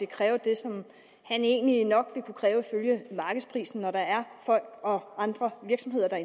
kræve det som han egentlig nok ville kunne kræve ifølge markedsprisen når der er folk og andre virksomheder der